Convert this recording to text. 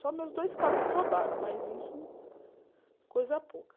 Só meus dois carros que roubaram, mas isso, coisa pouca.